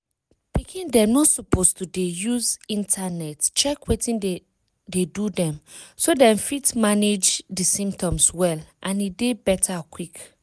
pikin dem no suppose to dey use internet check wetin dey do them so them fit manage the symptoms well and dey better quick